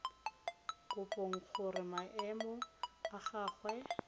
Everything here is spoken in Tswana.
kopang gore maemo a gagwe